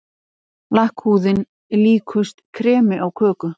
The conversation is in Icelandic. Lakkhúðin líkust kremi á köku.